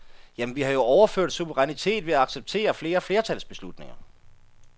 Jamen, vi har jo overført suverænitet ved at acceptere flere flertalsbeslutninger.